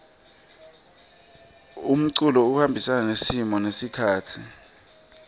umculo uhambisana nesimo nesikhatsi